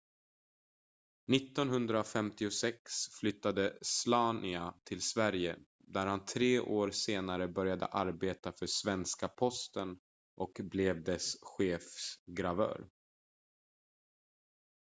1956 flyttade slania till sverige där han tre år senare började arbeta för svenska posten och blev dess chefsgravör